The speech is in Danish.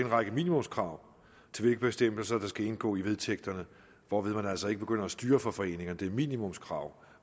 række minimumskrav til hvilke bestemmelser der skal indgå i vedtægterne hvorved man altså ikke begynder at styre for foreningerne det er minimumskrav